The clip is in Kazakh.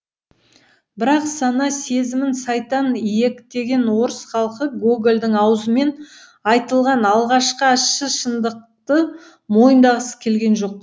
бірақ сана сезімін сайтан иектеген орыс халқы гогольдің аузымен айтылған алғашқы ащы шындықты мойындағысы келген жоқ